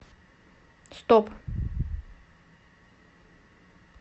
стоп